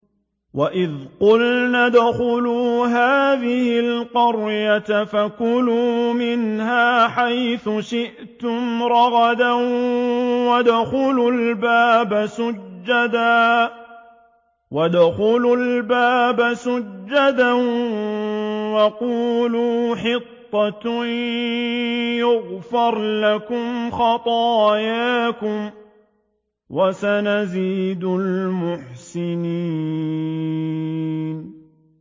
وَإِذْ قُلْنَا ادْخُلُوا هَٰذِهِ الْقَرْيَةَ فَكُلُوا مِنْهَا حَيْثُ شِئْتُمْ رَغَدًا وَادْخُلُوا الْبَابَ سُجَّدًا وَقُولُوا حِطَّةٌ نَّغْفِرْ لَكُمْ خَطَايَاكُمْ ۚ وَسَنَزِيدُ الْمُحْسِنِينَ